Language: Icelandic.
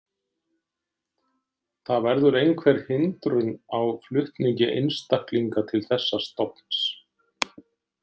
Það verður einhver hindrun á flutningi einstaklinga til þessa stofns.